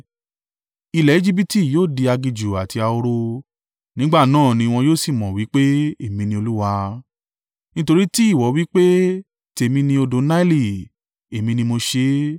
Ilẹ̀ Ejibiti yóò di aginjù àti ahoro, nígbà náà ní wọn yóò sì mọ̀ wí pé èmi ní Olúwa. “ ‘Nítorí tí ìwọ wí pé, “Tèmi ni odò Naili, Èmi ni mo ṣe é,”